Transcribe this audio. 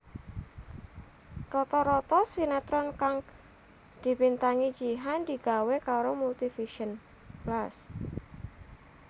Rata rata sinetron kang dibintangi Jihan digawé karo Multivision Plus